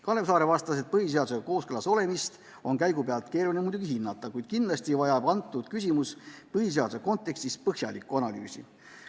Kalev Saare vastas, et põhiseadusega kooskõlas olemist on muidugi keeruline käigu pealt hinnata, kuid kindlasti vajab antud küsimus põhiseaduse kontekstis põhjalikku analüüsi.